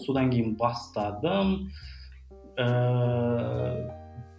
содан кейін бастадым ыыы